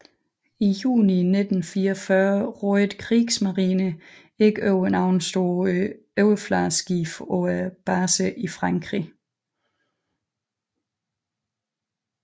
I juni 1944 rådede Kriegsmarine ikke over nogle store overfladeskibe på baserne i Frankrig